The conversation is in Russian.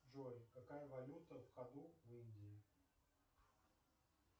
джой какая валюта в ходу в индии